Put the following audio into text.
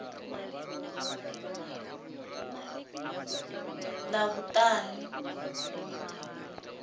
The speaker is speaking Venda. ḽavhuṱanu